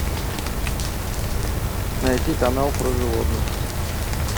найти канал про животных